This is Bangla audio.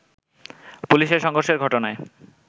পুলিশের সংঘর্ষের ঘটনায়